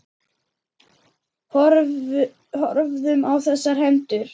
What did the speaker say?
Horfðum á þessar hendur.